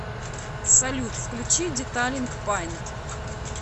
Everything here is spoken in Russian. салют включи деталинг паинт